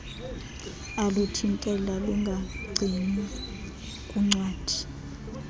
aluthintela lungagcinwa kuncwadi